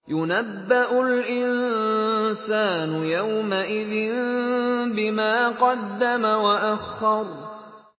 يُنَبَّأُ الْإِنسَانُ يَوْمَئِذٍ بِمَا قَدَّمَ وَأَخَّرَ